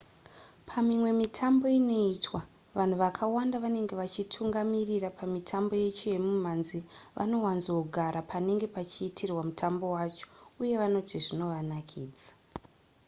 pamimwe mitambo inoitwa vanhu vakawanda vanenge vachitungamirira pamitambo yacho yemimhanzi vanowanzogara panenge pachiitirwa mutambo wacho uye vanoti zvinovanakidza